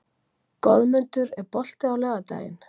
Goðmundur, er bolti á laugardaginn?